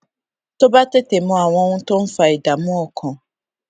tó bá tètè mọ àwọn ohun tó ń fa ìdààmú ọkàn